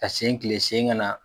Ka sen tilen sen kana.